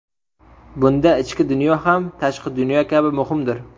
Bunda ichki dunyo ham tashqi dunyo kabi muhimdir.